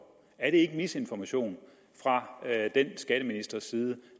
er det ikke misinformation fra den skatteministers side